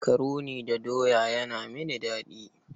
Makaroni da doya yana mini daɗi.